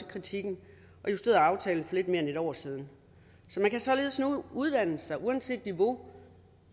kritikken og justerede aftalen for lidt mere end et år siden man kan således nu uddanne sig uanset niveau